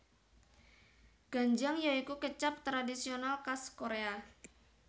Ganjang ya iku kecap tradisional kas Korea